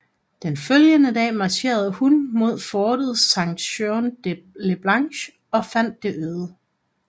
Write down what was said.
Den følgende dag marcherede hun mod fortet Saint Jean le Blanc og fandt det øde